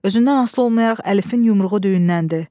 Özündən asılı olmayaraq Əlifin yumruğu düyünləndi.